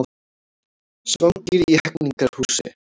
Svangir í Hegningarhúsi